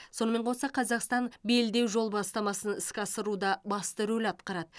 сонымен қоса қазақстан белдеу жол бастамасын іске асыруда басты рөл атқарады